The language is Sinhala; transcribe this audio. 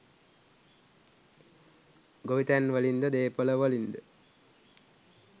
ගොවිතැන්වලින්ද දේපොළවලින්ද